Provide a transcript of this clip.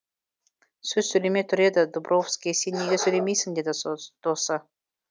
сөз сөйлемей тұр еді дубровский сен неге сөйлемейсің деді досы